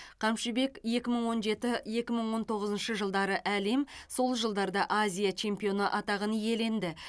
қамшыбек екі мың он жеті екі мың он тоғызыншы жылдары әлем сол жылдарда азия чемпионы атағын иеленді